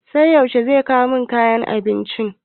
Sai yaushe zai kawo min kayan abincin?